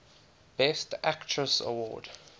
best actress award